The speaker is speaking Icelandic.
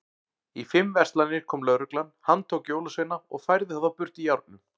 Í fimm verslanir kom lögreglan, handtók jólasveina og færði þá burt í járnum.